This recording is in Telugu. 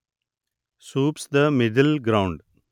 soups the middle ground